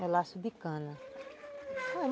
Melaço de cana.